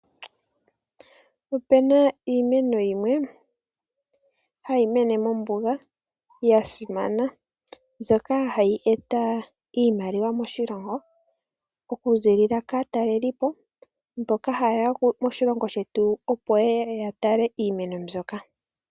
Ope na iimeno yimwe hayi mene mombuga ya simana. Mbyoka hayi eta iimaliwa moshilongo okuziilila kaatalelipo mboka ha yeya moshilongo shetu opo yeye ya tale iimeno mbyoka.